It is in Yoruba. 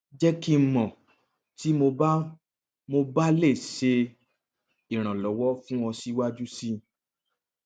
jẹ ki n mọ ti mo ba mo ba le ṣe iranlọwọ fun ọ siwaju sii